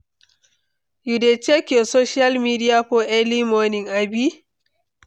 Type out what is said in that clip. you dey check your social media for early morning, abi?